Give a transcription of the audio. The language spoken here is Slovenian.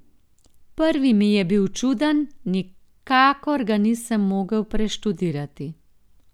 Prvi mi je bil čuden, nikakor ga nisem mogel preštudirati.